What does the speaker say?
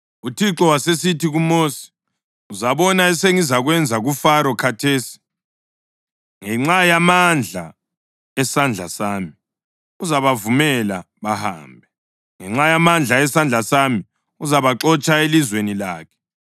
UThixo wasesithi kuMosi, “Uzabona esengizakwenza kuFaro khathesi. Ngenxa yamandla esandla sami uzabavumela bahambe, ngenxa yamandla esandla sami uzabaxotsha elizweni lakhe.”